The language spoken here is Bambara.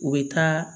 U bɛ taa